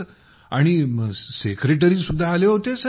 आणि सेक्रेटरी सुद्धा आले होते सर